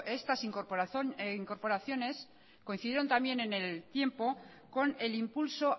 estas incorporaciones coincidieron también en el tiempo con el impulso